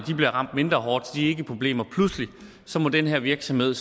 bliver ramt mindre hårdt så de ikke er i problemer så må den her virksomhed